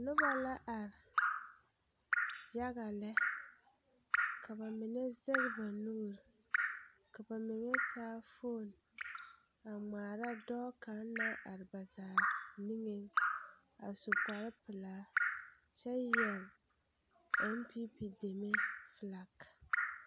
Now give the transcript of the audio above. Noba ba la are yaɡa lɛ ka ba mine zɛŋ ba nuuri ka ba mine taa foon a ŋmaara dɔɔ kaŋ naŋ are ba zaa niŋeŋ a su kparpelaa kyɛ yɛre npp deme felak.